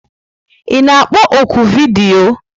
Ị na-akpọ ọ́kụ vidiyo?